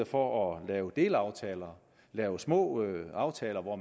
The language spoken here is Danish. for at lave delaftaler at lave små aftaler hvor